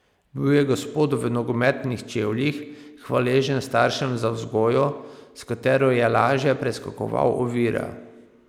Bil je gospod v nogometnih čevljih, hvaležen staršem za vzgojo, s katero je lažje preskakoval ovire.